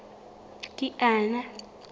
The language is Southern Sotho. kiana